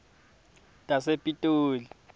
tasepitoli